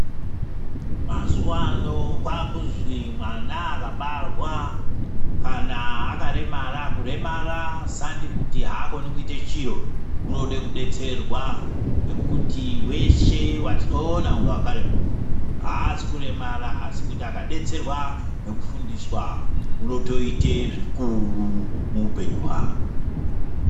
Mazuwano kwakuzwi mwana akabarwa akaremara, kuremara sandi kuti haakoni kuita chiro unoda kudetserwa ngekuti veshe vetinoona kunge wakaremara, aqzi kuremara asi kuti akadetserwa nekufundiswa unotoita zvikuru muupenyu hwake.